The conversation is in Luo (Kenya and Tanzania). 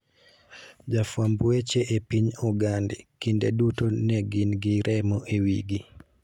Jofwamb weche e piny Ogande, kinde duto ne gin gi remo e wigi.